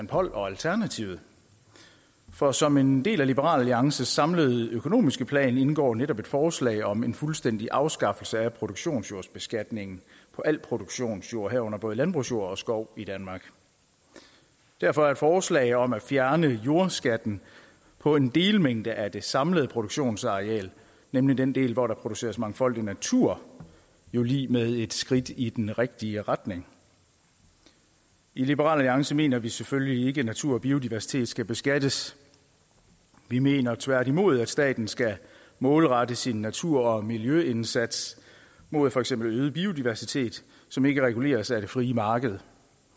poll og alternativet for som en del af liberal alliances samlede økonomiske plan indgår netop et forslag om en fuldstændig afskaffelse af produktionsjordsbeskatningen på al produktionsjord herunder både landbrugsjord og skov i danmark derfor er et forslag om at fjerne jordskatten på en delmængde af det samlede produktionsareal nemlig den del hvor der produceres mangfoldig natur jo lig med et skridt i den rigtige retning i liberal alliance mener vi selvfølgelig ikke natur og biodiversitet skal beskattes vi mener tværtimod at staten skal målrette sin natur og miljøindsats mod for eksempel øget biodiversitet som ikke reguleres af det frie marked